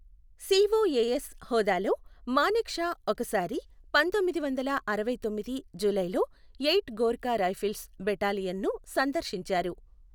COAS హోదాలో, Manekshaw ఒకసారి పంతొమ్మిది వందల అరవైతొమ్మిది జూలైలో ఎయిట్ గోర్ఖా రైఫిల్స్ బెటాలియన్ను సందర్శించారు.